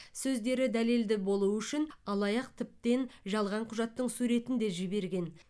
сөздері дәлелді болу үшін алаяқ тіптен жалған құжаттың суретін де жіберген